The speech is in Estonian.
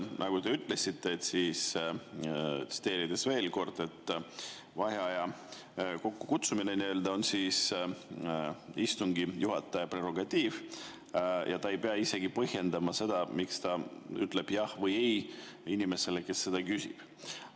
Nagu te ütlesite, siis – tsiteerin veel kord – vaheaja kokkukutsumine on istungi juhataja prerogatiiv ja ta ei pea isegi põhjendama seda, miks ta ütleb jah või ei inimesele, kes seda küsib.